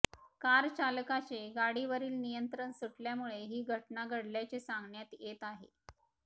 car चालकाचे गाडीवरील नियंत्रण सुटल्यामुळे ही घटना घडल्याचे सांगण्यात येत आहे